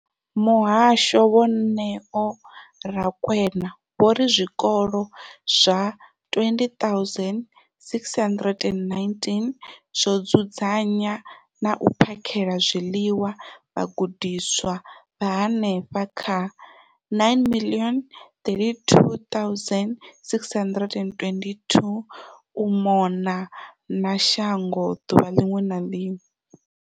Muhasho, Vho Neo Rakwena, vho ri zwikolo zwa 20 619 zwo dzudzanya na u phakhela zwiḽiwa vhagudiswa vha henefha kha 9 032 622 u mona na shango ḓuvha ḽiṅwe na ḽiṅwe.